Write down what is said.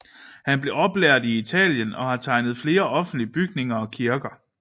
Han blev oplært i Italien og har tegnet flere offentlige bygninger og kirker